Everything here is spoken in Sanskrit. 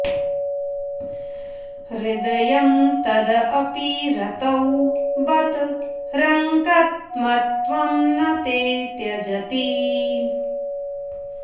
हृदयं तदपि रतौ बत रङ्कतमत्वं न ते त्यजति